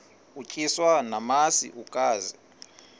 utyiswa namasi ukaze